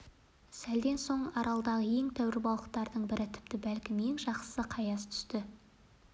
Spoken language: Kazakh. сәлден соң аралдағы ең тәуір балықтардың бірі тіпті бәлкім ең жақсысы қаяз түсті